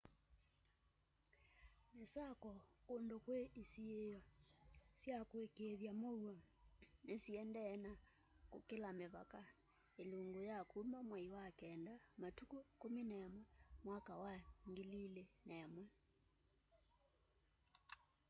misako kundu kwi isiio sya kuikiithya muuo ni siendee na kukila mivaka ilungu ya kuma mwai wa kenda matuku 11 mwaka wa 2001